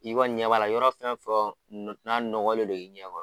N'i kɔni ɲɛ b'a la yɔrɔ fɛn o fɛn o n'a nɔgɔlen don i ɲɛ kɔrɔ